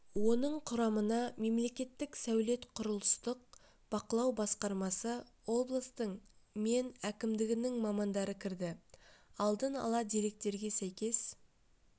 оның құрамына мемлекеттік сәулет-құрылыстық бақылау басқармасы облыстың мен әкімдігінің мамандары кірді алдын ала деректерге сәйкес